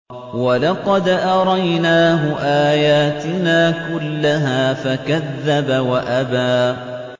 وَلَقَدْ أَرَيْنَاهُ آيَاتِنَا كُلَّهَا فَكَذَّبَ وَأَبَىٰ